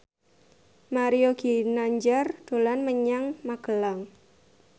Mario Ginanjar dolan menyang Magelang